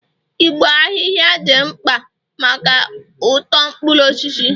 igbo ahihia dị mkpa maka uto mkpuru osisi